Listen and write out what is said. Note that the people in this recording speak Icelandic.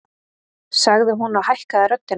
sagði hún og hækkaði röddina.